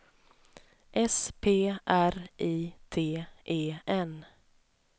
S P R I T E N